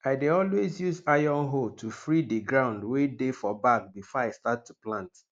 i dey always use iron hoe to free di ground wey dey for back before i start to plant